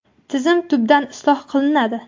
Tizim tubdan isloh qilinadi.